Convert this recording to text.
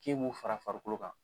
K'i ye mun fara farikolo kan.